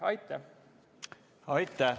Aitäh!